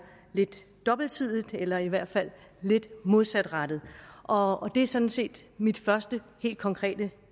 lidt dobbeltsidigt eller i hvert fald lidt modsatrettet og det er sådan set mit første helt konkrete